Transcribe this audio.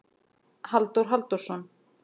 Halldór Halldórsson.